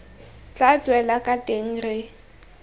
tla tswela kwa teng re